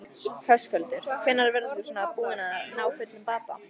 Höskuldur: Hvenær verður þú svona búinn að ná fullum bata?